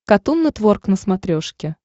катун нетворк на смотрешке